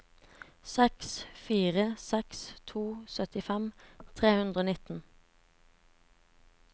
seks fire seks to syttifem tre hundre og nitten